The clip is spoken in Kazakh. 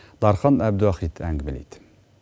дархан әбдіуахит әңгімелейді